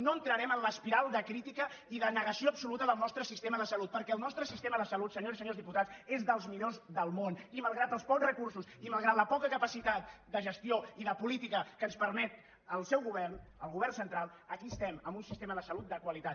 no entrarem en l’espiral de crítica i de negació absoluta del nostre sistema de salut perquè el nostre sistema de salut senyores i senyors diputats és dels millors del món i malgrat els pocs recursos i malgrat la poca capacitat de gestió i de política que ens permet el seu govern el govern central aquí estem amb un sistema de salut de qualitat